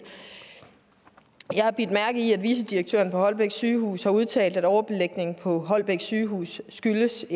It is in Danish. jeg har bidt mærke i at vicedirektøren på holbæk sygehus har udtalt at overbelægningen på holbæk sygehus skyldes